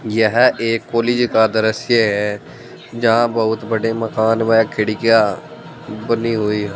यह एक कॉलेज का दृश्य है जहां बहुत बड़े मकान में खिड़कियां बनी हुई है।